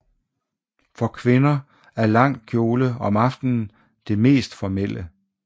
For kvinder er lang kjole om aftenen det mest formelle